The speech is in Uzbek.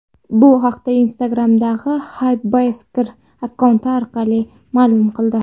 Bu haqda Instagram’dagi Hypebeastkr akkaunti orqali ma’lum qildi .